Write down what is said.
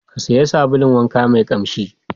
Ka sayi sabulun wanka mai ƙamshi.